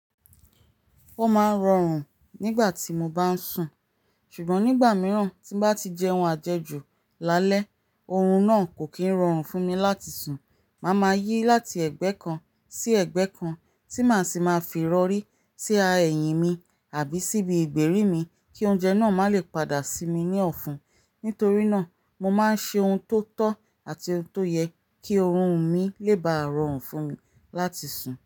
Ó máa ń rọrùn nígbà tí mo bá ń sùn, ṣùgbọ́n nígbà mìíràn tí ń bá ti jẹun àjẹjù lálẹ́, oorun náà kò kí ń rọrùn fún mi láti sùn. Màá máa yí láti ẹ̀gbẹ́ kan sí ẹ̀gbẹ́ kan tí màá sì máa fi irọrí sí ẹ̀yìn mí àbí sí ibi ìgbèrí mi kí oúnjẹ náà má lè padà sí mi ní ọ̀fun. Nítorí náà, mo máa ń ṣe ohun tó tọ́ àti ohun tó yẹ kí oorun mi lè bá rọrùn fún mi láti sùn.